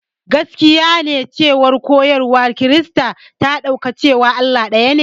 Gaskiya ne cewa koyarwar Kirista ta ɗauka cewa Allah ɗayane.